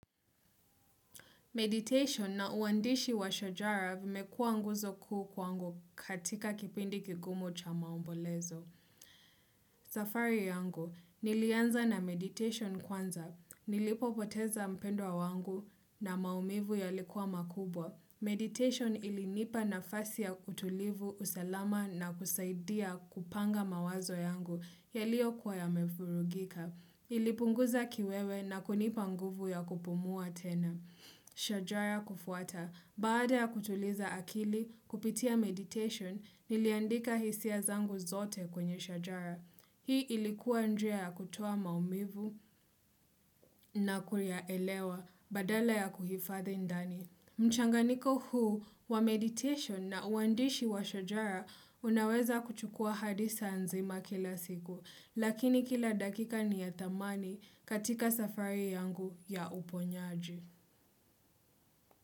Meditation na uandishi wa shojara vimekuwa nguzo kuu kwangu katika kipindi kigumu cha maombolezo. Safari yangu, nilianza na meditation kwanza. Nilipo poteza mpendwa wangu na maumivu yalikuwa makubwa. Meditation ilinipa na fasi ya kutulivu usalama na kusaidia kupanga mawazo yangu ya liyo kuwa ya mefurugika. Ilipunguza kiwewe na kunipa nguvu ya kupumua tena. Shajara kufuata, baada ya kutuliza akili kupitia meditation niliandika hisia zangu zote kwenye shajara. Hii ilikuwa njia ya kutoa maumivu na kuyaelewa badala ya kuhifadhi ndani. Mchanganiko huu wa meditation na uandishi wa shajara unaweza kuchukua hadisa nzima kila siku, lakini kila dakika ni ya tamani katika safari yangu ya uponyaji.